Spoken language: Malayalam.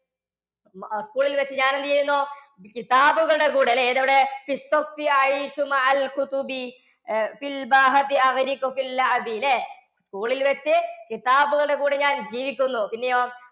അഹ് സ്കൂളിൽ വച്ച് ഞാൻ എന്ത് ചെയ്യുന്നു? കിതാബുകളുടെ കൂടെ അല്ലേ അവിടെ ല്ലേ? സ്കൂളിൽ വച്ച് കിതാബുകളുടെ കൂടെ ഞാൻ ജീവിക്കുന്നു പിന്നെയോ